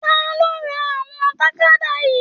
Taló rà ìwọ̀n tàkádá yìí?